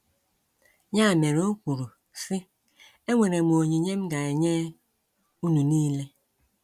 Ya mere o kwuru, sị: “ Enwere m onyinye m ga - enye unu nile. ”